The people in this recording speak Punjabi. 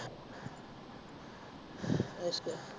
ਅੱਛਾ